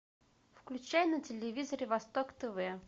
включай на телевизоре восток тв